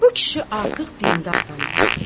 Bu kişi artıq dindar adamdır.